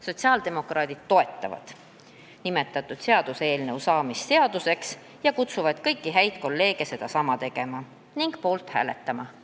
Sotsiaaldemokraadid toetavad nimetatud seaduseelnõu seaduseks saamist ja kutsuvad kõiki häid kolleege sedasama tegema ning selle eelnõu poolt hääletama.